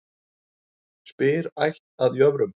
Spyr ætt að jöfrum.